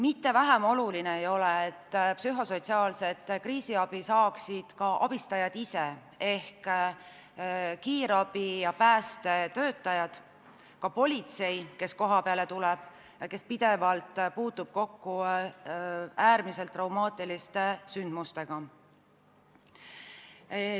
Mitte vähem oluline ei ole, et psühhosotsiaalset kriisiabi saaksid ka abistajad ise ehk kiirabi- ja päästetöötajad, samuti politsei, kes kohapeale tuleb ja äärmiselt traumaatiliste sündmustega pidevalt kokku puutub.